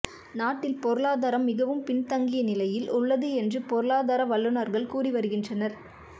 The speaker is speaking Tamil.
நாட்டில் பொருளாதாரம் மிகவும் பின் தங்கிய நிலையில் உள்ளது என்று பொருளாதார வல்லுனர்கள் கூறி வருகின்றனர்